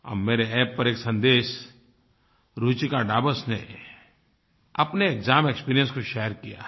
अब मेरे App पर एक सन्देश रुचिका डाबस ने अपने एक्साम एक्सपीरियंस को शेयर किया है